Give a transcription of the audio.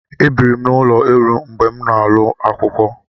E biri m n'ụlọ elu mgbe m nọ n'ulo akwụkwọ.